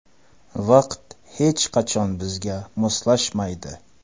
Vaqt hech qachon bizga moslashmaydi.